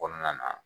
Kɔnɔna na